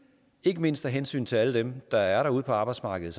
ikke mindst af hensyn til alle dem der er ude på arbejdsmarkedet